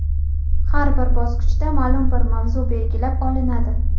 Har bir bosqichda ma’lum bir mavzu belgilab olinadi.